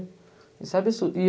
Isso é absurdo.